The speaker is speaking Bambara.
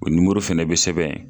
O fɛnɛ bI sɛbɛn yen.